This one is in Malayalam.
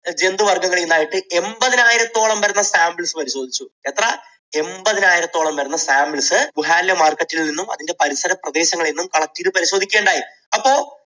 ജന്തുവർഗങ്ങളിൽ നിന്ന് ആയിട്ട് എൺപതിനായിരത്തോളം വരുന്ന samples പരിശോധിച്ചു, എത്ര? എൺപതിനായിരത്തോളം വരുന്ന samples വുഹാനിലെ market ൽ നിന്നും അതിൻറെ പരിസര പ്രദേശങ്ങളിൽ നിന്നും collect ചെയ്ത് പരിശോധിക്കുകയുണ്ടായി. അപ്പൊ